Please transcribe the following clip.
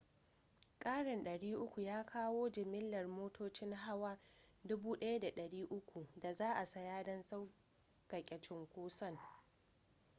karin 300 ya kawo jimillar motocin hawa 1,300 da za a saya don sauƙaƙe cunkoson